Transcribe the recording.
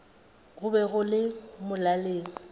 go be go le molaleng